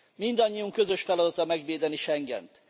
Mindannyiunk közös feladata megvédeni Schengent.